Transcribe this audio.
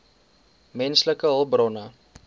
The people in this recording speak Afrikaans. menslike hulpbronne